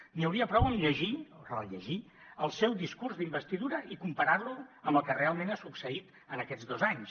n’hi hauria prou amb llegir o rellegir el seu discurs d’investidura i comparar lo amb el que realment ha succeït en aquests dos anys